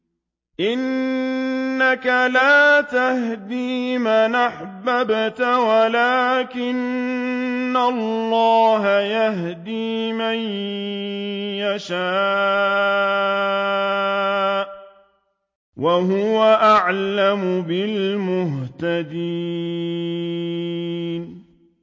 إِنَّكَ لَا تَهْدِي مَنْ أَحْبَبْتَ وَلَٰكِنَّ اللَّهَ يَهْدِي مَن يَشَاءُ ۚ وَهُوَ أَعْلَمُ بِالْمُهْتَدِينَ